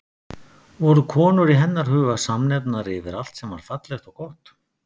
Voru konur í hennar huga samnefnari yfir allt sem var fallegt og gott?